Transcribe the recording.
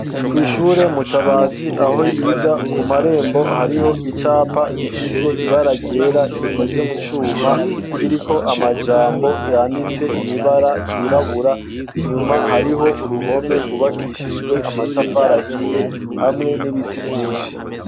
Kw'ishure Mutabazi aho yiga, ku marembo hariho icapa gifise ibara ryera, gikoze mu cuma, kiriko amajambo yanditse mw'ibara ryirabura, inyuma hariho uruhome rwubakishijwe amatafari ahiye, hamwe n'ibiti vyinshi.